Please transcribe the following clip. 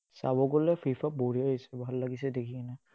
চাব গ'লে FIFA বঢ়িয়া আহিছে, ভাল লাগিছে, দেখি